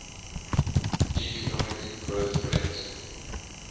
economic growth rate